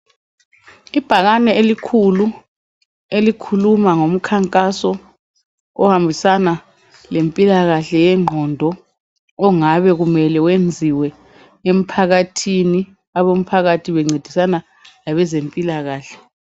Ibhakane elikhulu elikhuluma ngomkhankaso ohambisana lempilakahle yengqondo .Ongabe kumele wenziwe emphakathi . Abo mphakathi bencedisana labezempilakahle.